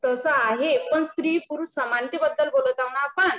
तसं आहे पण स्त्री पुरुष समानते बद्दल बोलत आहोत ना आपण